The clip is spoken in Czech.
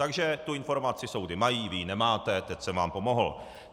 Takže tu informaci soudy mají, vy ji nemáte, teď jsem vám pomohl.